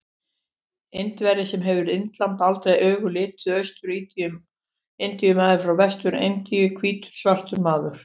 Indverji sem hefur Indland aldrei augum litið, Austur-Indíu-maður frá Vestur-Indíum, hvítur svartur maður.